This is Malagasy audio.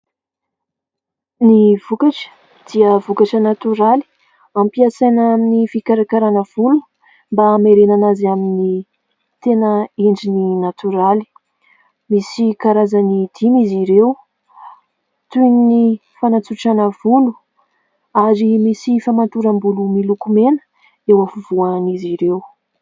Ny vokatra dia vokatra natoraly, ampiasaina amin'ny fikarakarana volo mba hamerenana azy amin'ny tena endriny natoraly. Misy karazany dimy izy ireo toy ny fanatsorana volo ary misy famatoram-bolo miloko mena eo afovoan'izy ireo.